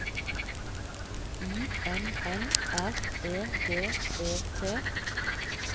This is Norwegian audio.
I N N R E D E T